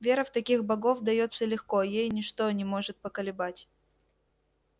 вера в таких богов даётся легко ей ничто не может поколебать